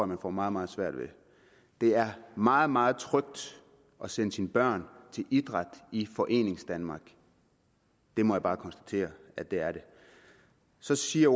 man får meget meget svært ved det er meget meget trygt at sende sine børn til idræt i foreningsdanmark det må jeg bare konstatere at det er så siger